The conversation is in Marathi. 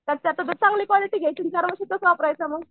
तर त्यातसुद्धा चांगली क्वालिटी घ्यायची आणि चार वर्ष तोच वापरायचा मग.